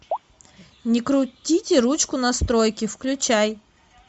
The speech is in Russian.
не крутите ручку настройки включай